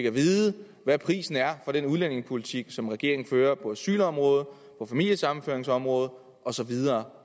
at vide hvad prisen er for den udlændingepolitik som regeringen fører på asylområdet på familiesammenføringsområdet og så videre